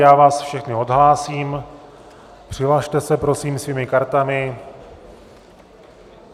Já vás všechny odhlásím, přihlaste se prosím svými kartami.